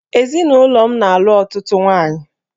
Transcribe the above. Ezinụlọ m na-alụ ọtụtụ nwaanyị